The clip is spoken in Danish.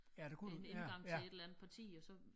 En indgang til et eller andet parti og så